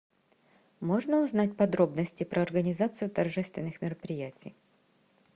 можно узнать подробности про организацию торжественных мероприятий